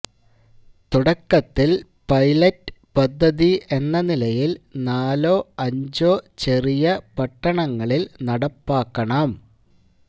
തുടക്കത്തില് പൈലറ്റ് പദ്ധതി എന്ന നിലയില് നാലോ അഞ്ചോ ചെറിയ പട്ടണങ്ങളില് നടപ്പാക്കണം